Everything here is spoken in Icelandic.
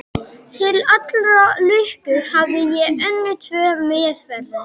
Til allrar lukku hafði ég önnur tvö meðferðis.